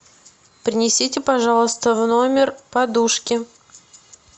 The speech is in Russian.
принесите пожалуйста в номер подушки